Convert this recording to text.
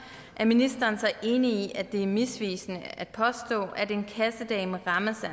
er ministeren så enig i at det er misvisende at påstå at en kassedame rammes af